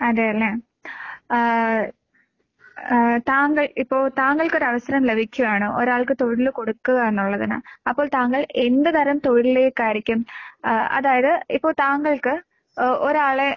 അതേല്ലേ. ആഹ് ആഹ് താങ്കൾ ഇപ്പോ താങ്കൾക്കൊരവസരം ലഭിക്കുവാണ് ഒരാൾക്ക് തൊഴില് കൊടുക്കുക എന്നുള്ളതിന്. അപ്പോൾ താങ്കൾ എന്ത് തരം തൊഴിലിലേക്കായിരിക്കും ആഹ് അതായത് ഇപ്പോ താങ്കൾക്ക് ഓ ഒരാളെ